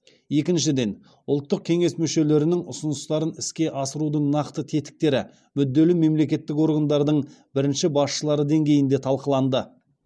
екіншіден ұлттық кеңес мүшелерінің ұсыныстарын іске асырудың нақты тетіктері мүдделі мемлекеттік органдардың бірінші басшылары деңгейінде талқыланды